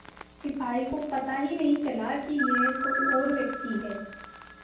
सिपाही को पता ही नहीं चला कि यह कोई और व्यक्ति है